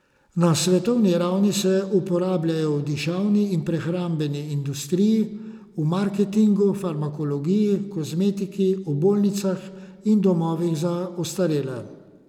Na svetovni ravni se uporabljajo v dišavni in prehrambeni industriji, v marketingu, farmakologiji, kozmetiki, v bolnicah in domovih za ostarele ...